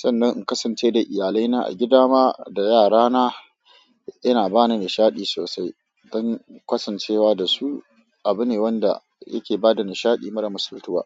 sannan in kasance da iyalaina a gida ma da yarana. Yana bani nishaɗi sosai, dan kasancewa da su. Abu ne wanda yake ba da nishaɗi mara misaltuwa.